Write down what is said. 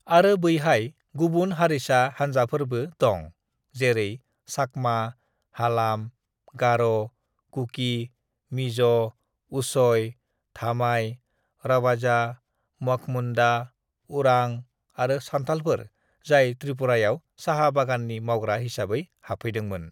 "आरो बैहाय गुबुन हारिसा हानजाफोरबो दं जेरै चाकमा, हालाम, गार', कुकि, मिज', उचय, धामाय, रवाजा, मघ मुन्दा, उरां आरो सान्थालफोर जाय त्रिपुरायाव साहा बागाननि मावग्रा हिसाबै हाबफैदोंमोन।"